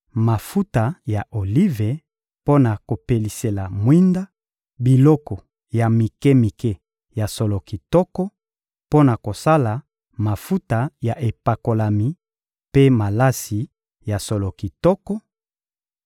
mafuta ya olive mpo na kopelisela mwinda, biloko ya mike-mike ya solo kitoko mpo na kosala mafuta ya epakolami mpe malasi ya solo kitoko,